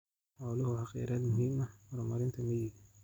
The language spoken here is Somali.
Xooluhu waa kheyraad muhiim u ah horumarinta miyiga.